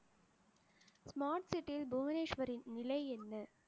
smart city யில் புவனேஸ்வரின் நிலை என்ன